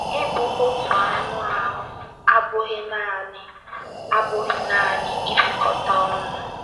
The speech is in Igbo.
Ịbụ “ otu anụ ahụ́ ” abụghị naanị ” abụghị naanị ibikọta ọnụ.